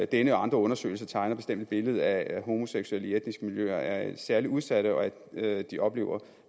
denne og andre undersøgelser tegner bestemt et billede af at homoseksuelle i etniske miljøer er særlig udsatte og at de oplever